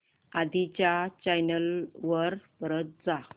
आधी च्या चॅनल वर परत जा